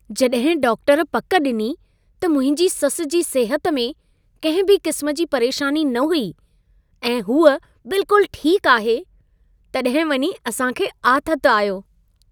जॾहिं डॉक्टर पक ॾिनी त मुंहिंजी ससु जी सिहत में कंहिं बि क़िस्म जी परेशानी न हुई ऐं हूअ बिल्कुलु ठीकु आहे, तॾहिं वञी असां खे आथतु आयो।